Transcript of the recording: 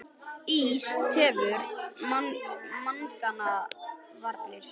Ís tefur mengunarvarnir